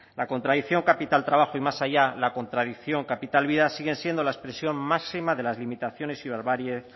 la contradicción capital trabajo y más allá la contradicción capital vida sigue siendo la expresión máxima de las limitaciones y barbaries